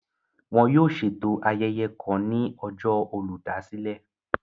Wọn yóò ṣeto ayẹyẹ kàn ní ọjọ Olùdásílẹ̀